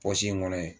in kɔnɔ ye